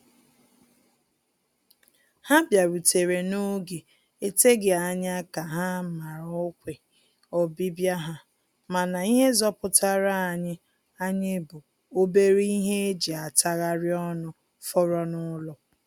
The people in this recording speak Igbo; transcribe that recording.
Ha bịarutere n'oge eteghị anya ka ha mara ọkwe ọbịbịa ha, mana ihe zọpụtara anyị anyị bụ obere ihe e ji atagharị ọnụ fọrọ n'ụlọ